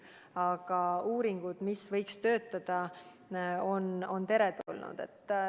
Aga uuringud on igati teretulnud.